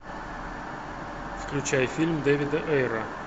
включай фильм дэвида эйра